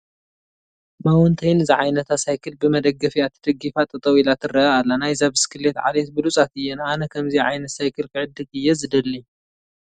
ማውንተይን ዝዓይነታ ሳይክል ብመደገፊአ ተደጊፋ ጠጠው ኢላ ትርአ ኣላ፡፡ ናይዛ ብስክሌት ዓሌት ብሉፃት እየን፡፡ ኣነ ከምዚአ ዓይነት ሳይክል ክዕድግ እየ ዝደሊ፡፡